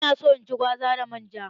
Ina so in ci gwaza da man ja.